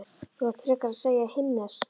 Þú átt frekar að segja himneskt